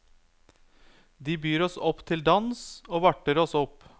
De byr oss opp til dans og varter oss opp.